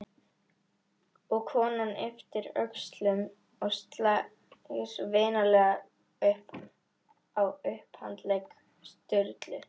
Og konan ypptir öxlum og slær vinalega á upphandlegg Sturlu.